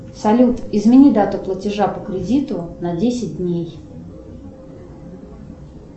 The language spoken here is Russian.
салют измени дату платежа по кредиту на десять дней